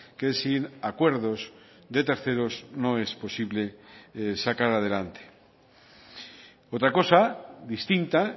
que sin acuerdos de terceros no es posible sacar adelante otra cosa distinta